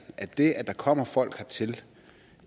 at det at der kommer folk hertil